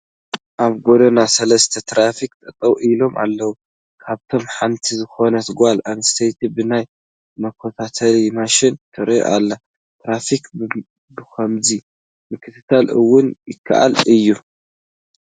ኣብ ጐደና ሰለስተ ትራፊካት ጠጠው ኢሎም ኣለዉ፡፡ ካብኣቶም ሓንቲ ዝኾነት ጓል ኣነስተይቲ ብናይ መከታተሊ ማሽን ትርኢ ኣሉ፡፡ ንትራፊክ ብኸምዚ ምክትታል እውን ይከኣል እዩ፡፡